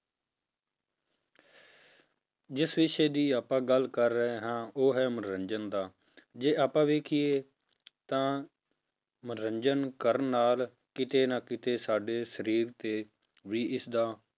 ਜਿਸ ਵਿਸ਼ੇ ਦੀ ਆਪਾਂ ਗੱਲ ਕਰ ਰਹੇ ਹਾਂ ਉਹ ਹੈ ਮਨੋਰੰਜਨ ਦਾ ਜੇ ਆਪਾਂ ਵੇਖੀਏ ਤਾਂ ਮਨੋਰੰਜਨ ਕਰਨ ਨਾਲ ਕਿਤੇ ਨਾ ਕਿਤੇੇ ਸਾਡੇ ਸਰੀਰ ਤੇ ਵੀ ਇਸਦਾ